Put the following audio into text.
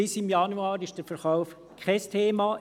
Bis im Januar ist der Verkauf kein Thema.